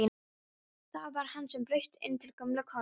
Það var hann sem braust inn til gömlu konunnar!